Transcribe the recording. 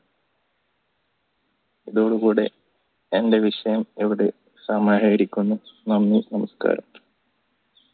ഇതോടു കൂടെ എന്റെ വിഷയം ഇവിടെ സമാഹരിക്കുന്നു നന്ദി നമസ്‌കാരം